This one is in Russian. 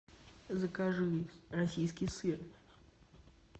закажи российский сыр